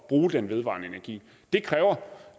bruge den vedvarende energi det kræver